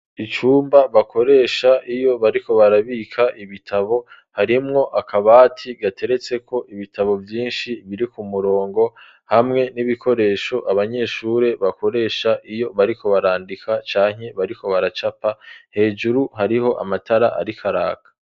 Icumba bakoresha iyo bariko barabika ibitabo harimwo akabati gateretseko ibitabo vyinshi biri ku murongo hamwe n'ibikoresho abanyeshure bakoresha iyo bariko barandika canke bariko baracapa hejuru hariko amatara arikaraka.